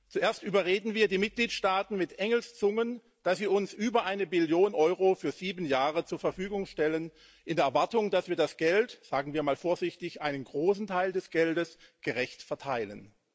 Zuerst überreden wir die Mitgliedstaaten mit Engelszungen, dass sie uns über eine Billion Euro für sieben Jahre zur Verfügung stellen in der Erwartung, dass wir das Geld sagen wir mal vorsichtig, einen großen Teil des Geldes gerecht verteilen.